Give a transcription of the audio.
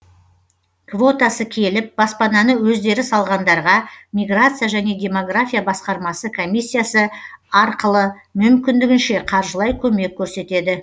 квотасы келіп баспананы өздері салғандарға миграция және демография басқармасы комиссиясы арқылы мүмкіндігінше қаржылай көмек көрсетеді